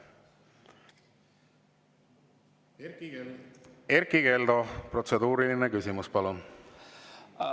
Erkki Keldo, protseduuriline küsimus, palun!